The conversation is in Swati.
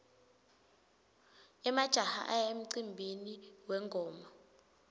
emajaha aya emcimbini wengoma